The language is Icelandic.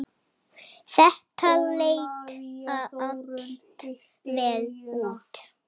Þetta leit allt vel út.